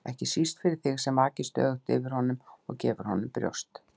ekki síst fyrir þig sem vakir stöðugt yfir honum og gefur honum brjóst.